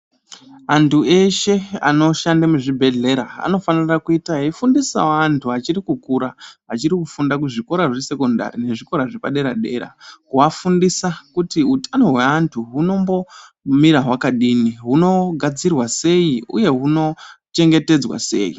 Anthu eshe anoshande muzvibhedhlera, anofanira kuita echifundisawo anthu achiri kukura, achiri kufunda kuzvikora zvesekondari nezvikora zvepadera-dera. Kuafundisa kuti utano hweanthu hunombomira hwakadini, hunogadzirwa sei uye hunochengetedzwa sei.